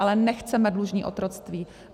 Ale nechceme dlužní otroctví.